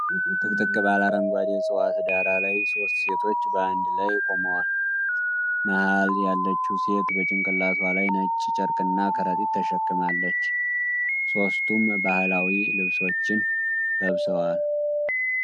ጥቅጥቅ ባለ አረንጓዴ ዕፅዋት ዳራ ላይ ሦስት ሴቶች በአንድ ላይ ቆመዋል። መሃል ያለችው ሴት በጭንቅላቷ ላይ ነጭ ጨርቅና ከረጢት ተሸክማለች፤ ሦስቱም ባህላዊ ልብሶችን ለብሰዋል።